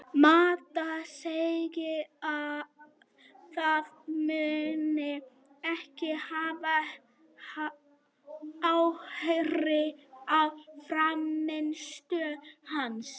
Mata segir að það muni ekki hafa áhrif á frammistöðu hans.